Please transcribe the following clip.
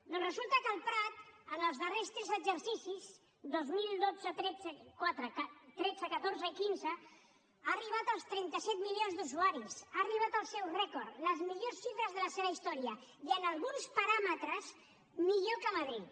doncs resulta que el prat en els darrers tres exercicis dos mil dotze tretze catorze i quinze ha arribat als trenta set milions d’usuaris ha arribat al seu rècord les millors xifres de la seva història i en alguns paràmetres millor que madrid